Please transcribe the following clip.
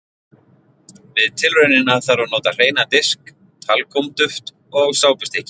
Við tilraunina þarf að nota hreinan disk, talkúm-duft og sápustykki.